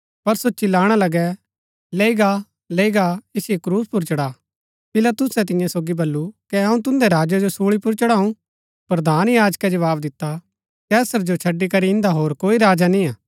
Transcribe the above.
पर सो चिल्लाणा लगै लैई गा लैई गा ऐसिओ क्रूस पुर चढ़ा पिलातुसै तियां सोगी बल्लू कै अऊँ तुन्दै राजै जो सूली पुर चढ़ाऊ प्रधान याजकै जवाव दिता कैसर जो छड़ी करी इन्दा होर कोई राजा निय्आ